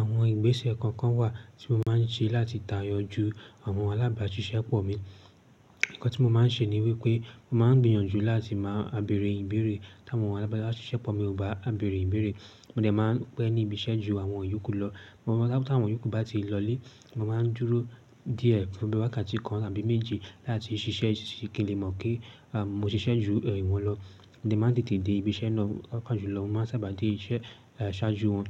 Àwọn ìgbésẹ̀ kọ̀ọ̀kan wà tí mo máa ń ṣe láti tayọ ju àwọn alábàáṣiṣẹ́pọ̀ mi. Ǹnkan tí mo máa ń ṣe ní wípé mo máa ń gbìyànjú láti máa bẹ̀rẹ̀ ìbéèrè tí àwọn alábàáṣiṣẹ́pọ̀ mi ò bá bẹ̀rẹ̀ ìbéèrè. Mó de máa ń pẹ́, níbi iṣẹ́ ju àwọn yòókù lọ. Mo máa sábá, tí àwọn yòókù bá ti lọlé, mo máa ń dúró díẹ̀, fún bí wákàtí kan àbí méjì láti ṣiṣẹ́ sí kí ǹ lè mọ̀ pé mó ṣiṣẹ́ ju ìwọ̀n lọ. Mó dé máa ń tètè dé ibi-iṣẹ́ lọ̀, pàápàá jùlọ. Mó máa ń sábà dé iṣẹ́ ṣáájú wọn.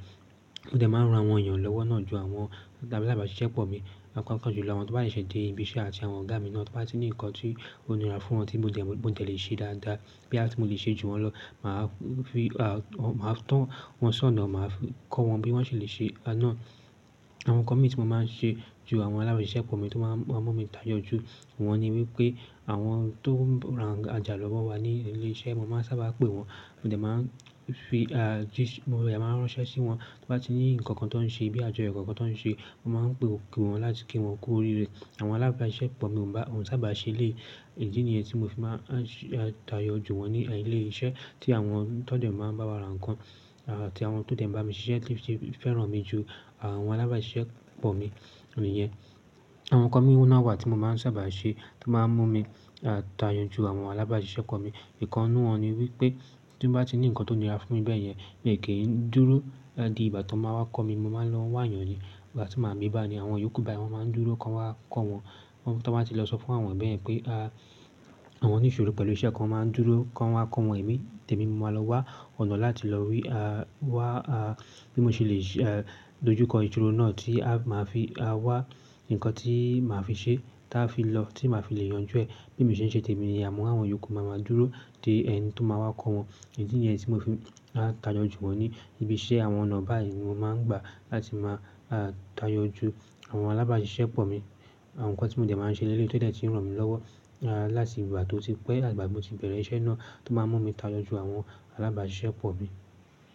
Mó de máa ń ran awọn éyàn lọ́wọ́ náà ju àwọn alábàáṣiṣẹ́pọ̀ mi pàápàá jùlọ. Àwọ́n tí ò bá sèsè dé ibi-iṣẹ́ àti àwọn ọ̀gá mi náà tò bá ti ní nǹkan tí ó nirà fún wọn tí mò dẹ̀ lè ṣe dáadáa bòyà ti mó de lè ṣe ju wọn lọ, màá fi, màá tán wọn sọ́nà, màá kọ́ wọn bí wọ́n ṣe lè ṣe náà. Àwọn ńkọ́mi tí mo máa ń ṣe ju àwọn alábàáṣiṣẹ́pọ̀ mi tó máa ń mú mi tayọ ju wọn ní wípé àwọn tó ń ràn àjà lọ́wọ́ wa ní ilé-isé, mo máa ń sábà pè wọ́n. Mó de máa ń fi, mó de máa ń ránṣẹ́ sí wọn. Tọ́ bá ti ní nǹkan kan tó ń ṣe bí àjọyọ̀ kankan tó ń ṣe, mo máa ń pe kí wọ́n láti kí wọ́n kú òrirẹ̀. Àwọn alábàáṣiṣẹ́pọ̀ mi, wòn sábà ṣe eléyìí. Ìdí ni yén tí mo fi máa ń tayọ ju wọn ní ilé-iṣẹ́ tí àwọn tó de máa ń bá wa rán ǹńkan tàbí àwọn tó de máa ń bá mi ṣiṣẹ́ sé fẹ́ràn mi ju àwọn alábàáṣiṣẹ́pọ̀ mi. Ǹiyẹn, àwọn ńkan mi ná wà tí mo máa ń sábà ṣe, tí ó máa ń mú mi tayọ ju àwọn alábàáṣiṣẹ́pọ̀ mi. Ǹkan nínú wọn ni wípé, tí mò bá ti ní nǹkan tó nira fún mi bèéyẹ́n, mi ò kí ń dúró. Di ìgbà tí wọ́n máa wá kọ́ mi, mo máa ń lọ wá éyàn ni. Ìgbà tí màá bí bá ni àwọn yòókù báyìí wọ́n máa ń dúró kí wọn wá kọ́ wọn. Ti wọn bá ti lọ sọ fún àwọn ẹ́yan bẹ́ẹ̀yen pé àwọn nísọ̀rọ̀ pẹ̀lú iṣẹ́ kan, wón máa ń dúró kó wá kọ́ wọn èmi, ǹ tèmi mo máa lọ wá ọ̀nà láti lọ rí wá bí mo ṣe ìdojú kọ ìṣòro náà tí màá fi wá nǹkan tí màá fi ṣe táa fi lọ tí màá fi lè yanjú ẹ̀ bí èmí ṣe ń ṣe tèmi, níyén. Àmọ́ àwọn yòókù máa ń dúró dé ẹni tó máa wá kọ́ wọn. Idí ni yẹ́n tí mó fi máa ń tayọ ju wọn ní ibi-iṣẹ́ àwọn ọ̀nà báyìí mo máa ń gbà, láti máa tayọ ju àwọn alábàáṣiṣẹ́pọ̀ mi. Àwọn ǹńkan tí mò de máa ń ṣe léléyìí tí ò dé tì ń ràn mí lọ́wọ́ láti ìgbà tó ti pẹ́, àtigbà ti mó ti bẹ̀rẹ̀ iṣẹ́ náà tó ná mú mi tayọ ju àwọn alábàáṣiṣẹ́pọ̀ mi.